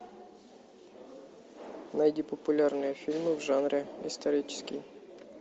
найди популярные фильмы в жанре исторический